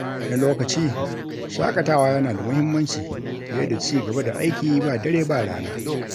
Wani lokaci, shakatawa yana da mahimmanci fiye da ci gaba da aiki ba dare ba rana.